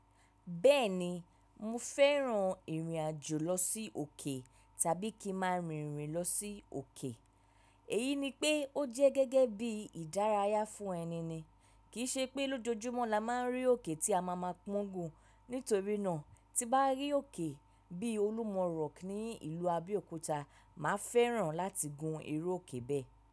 Bẹ́ẹ̀ni, mo fẹ́ràn ìrìn àjò lọ sí òkè tàbí kí máa rìn-rìn lọ sí òkè. Èyí ni pé ó jẹ́ gẹ́gẹ́ bí ìdárayá fún ẹni ni. Kì í ṣe pé lójoojúmọ́ la máa ń rí òkè tí a máa ma pọ́n gùn. Nítorí náà tí bá rí òkè bí Olúmọ Rock ní ìlú Abéòkúta, màá fẹ́ràn láti gun iru òkè bẹ́ẹ̀